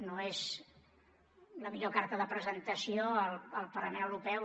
no és la millor carta de presentació al parlament europeu